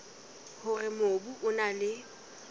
hore mobu o na le